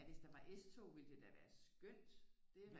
Ja hvis der var S-tog ville det da være skønt